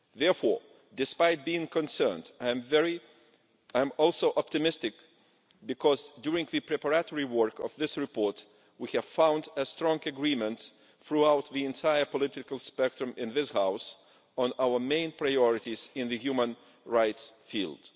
Therefore, despite being concerned, I am also optimistic, because during the preparatory work of this report we have found a strong agreement throughout the entire political spectrum in this House on our main priorities in the human rights field.